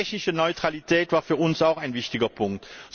Die technische Neutralität war für uns auch ein wichtiger Punkt.